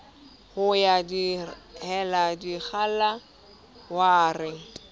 ho ya dihela dikgala sware